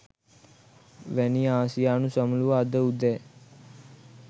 වැනි ආසියානු සමුළුව අදඋදෑ